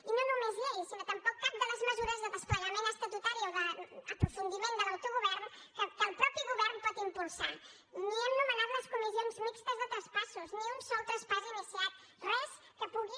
i no només llei sinó tampoc cap de les mesures de desplegament estatutari o d’aprofundiment de l’autogovern que el mateix govern pot impulsar ni hem nomenat les comissions mixtes de traspassos ni un sol traspàs iniciat res que pugui